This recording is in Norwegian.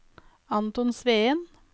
Anton Sveen